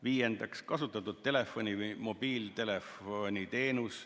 Viiendaks, kasutatud telefoni- või mobiiltelefoniteenus.